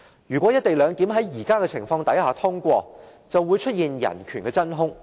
如果"一地兩檢"安排在目前的情況下通過，便會出現人權的真空。